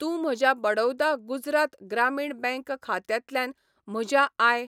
तूं म्हज्या बडौदा गुजरात ग्रामीण बँक खात्यांतल्यान म्हज्या आय.